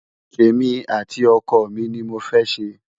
témi àti ọkọ mí ní mọ fé ṣé